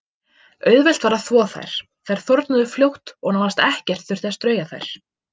Auðvelt var að þvo þær, þær þornuðu fljótt og nánast ekkert þurfti að strauja þær.